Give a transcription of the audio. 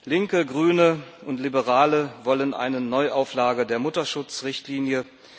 Linke, Grüne und Liberale wollen eine Neuauflage der Mutterschutzrichtlinie.